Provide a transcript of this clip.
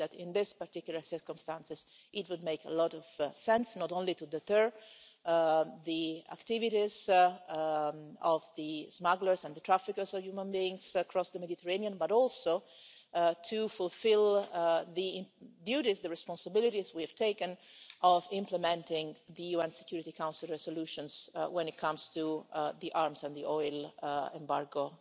I think that in these particular circumstances it would make a lot of sense, not only to deter the activities of the smugglers and the traffickers of human beings across the Mediterranean, but also to fulfil the duties, the responsibilities, we have taken of implementing the UN Security Council Resolutions when it comes to the arms and the oil embargo